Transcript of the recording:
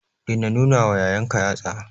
Daina nunawa yayanka yatsa.